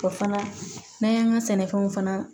O fana n'an y'an ka sɛnɛfɛnw fana